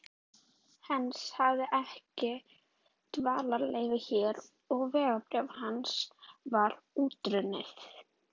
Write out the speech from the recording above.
Heinz hafði ekki dvalarleyfi hér og vegabréf hans var útrunnið.